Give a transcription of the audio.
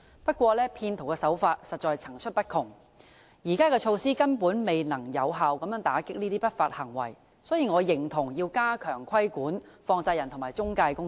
不過，騙徒手法實在層出不窮，現行措施根本未能有效打擊這些不法行為，所以我認同要加強規管放債人及中介公司。